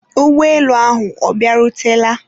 ụgbọelu ahụ ọ bịarutela?